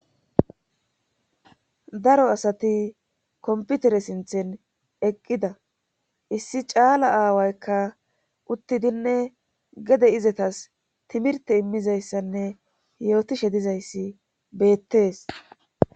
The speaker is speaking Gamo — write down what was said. Daro asati komputere sinthen eqqida issi caala aawaykka uttidinne gede izetas timirte immizayssanne yootishe dizayssi beettees.